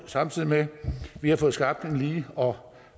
samtidig med at vi har fået skabt en lige og